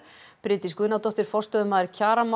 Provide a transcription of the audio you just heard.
Bryndís Guðnadóttir forstöðumaður